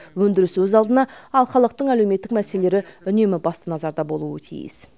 өндіріс өз алдына ал халықтың әлеуметтік мәселелері үнемі басты назарда болуы тиіс